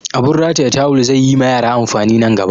Abun rataya tawul zai yi ma yara amfani nan gaba